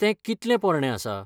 तें कितलें पोरणें आसा?